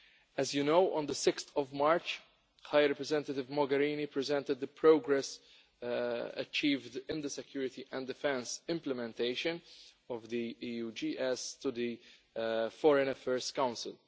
As you know, on 6 March, High Representative Mogherini presented the progress achieved in the security and defence implementation of the EUGS to the Foreign Affairs Council.